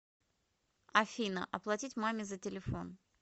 афина оплатить маме за телефон